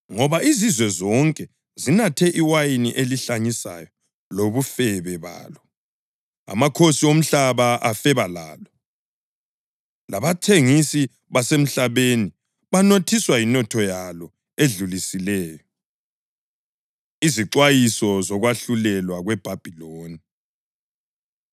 Ngoba izizwe zonke zinathe iwayini elihlanyisayo lobufebe balo. Amakhosi omhlaba afeba lalo, labathengisi basemhlabeni banothiswa yinotho yalo edlulisileyo.” Izixwayiso Zokwahlulelwa KweBhabhiloni